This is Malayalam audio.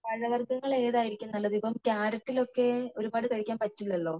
പഴവര്ഗങ്ങള് ഏതായിരിക്കും നല്ലത് ഇപ്പോ കാരറ്റിൽ ഒക്കെ ഒരുപാട് കഴിക്കാൻ പറ്റില്ലാലോ